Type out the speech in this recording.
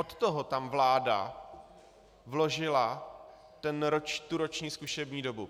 Od toho tam vláda vložila tu roční zkušební dobu.